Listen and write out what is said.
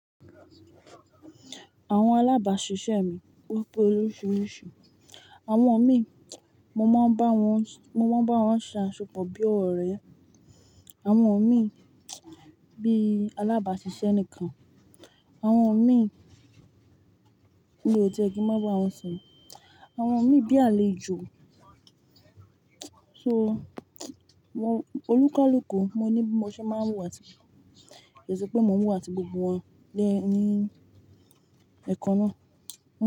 Àwọn alábàáṣiṣẹ́ mi ope oríṣiríṣi. Àwọn min, mo máa ń bá wọn, mo máa ń bá wọn ṣe aṣepọ̀ bí ọ̀rẹ́. Àwọn mi bí alábàáṣiṣẹ́ nìkan. Àwọn min mio ti ẹ kí ń má ba à wọn sọ̀rọ̀. Àwọn mi bí àlejò. Oni kalùkù lo ní bi mo ṣe máa ń wù wá si, kii ṣẹ́ pé mò ń wù wá si gbogbo wọn ní ẹkan náà.